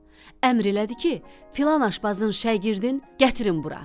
Əmr elədi ki, filan aşbazın şagirdin gətirin bura.